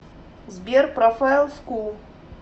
сбер профайл скул